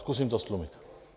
Zkusím to ztlumit.